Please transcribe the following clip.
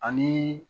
Ani